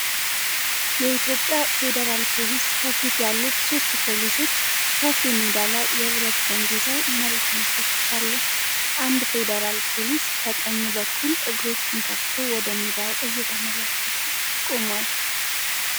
የኢትዮጵያ ፌዴራል ፖሊስ ከፊት ያሉት ሦስት ፖሊሶች ሰፊ ሜዳ ላይ የብረት ዘንግ ይዘዉ መሬቱን ይፈትሻሉ። አንድ ፌደራል ፖሊስ ከቀኝ በኩል እግሮቹን ከፍቶ ወደ ሜዳዉ እየተመለከተ ቆሟል።